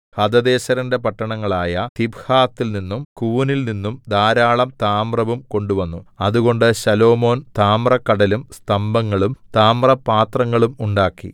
ഹദദേസെരിന്റെ പട്ടണങ്ങളായ തിബ്ഹാത്തിൽനിന്നും കൂനിൽനിന്നും ധാരാളം താമ്രവും കൊണ്ടുവന്നു അതുകൊണ്ട് ശലോമോൻ താമ്രക്കടലും സ്തംഭങ്ങളും താമ്രപാത്രങ്ങളും ഉണ്ടാക്കി